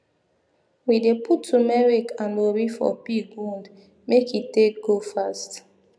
we dey put tumeric and ori for pig wound make e take go fast